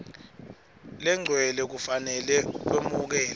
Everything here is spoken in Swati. legcwele kufanele kwemukelwe